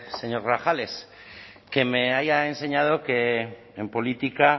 señor grajales que me ha enseñado que en política